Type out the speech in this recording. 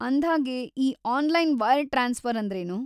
ಅಂದ್ಹಾಗೆ, ಈ online wire transfer ಅಂದ್ರೇನು?